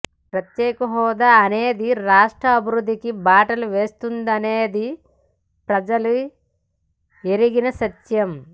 ప్రత్యేక హోదా అనేది ఈ రాష్ట్ర అభివృద్ధికి బాటలు వేస్తుందనేది ప్రజలు ఎరిగిన సత్యం